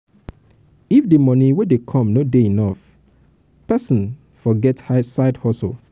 if di money wey dey come no dey enough person fot get side hustle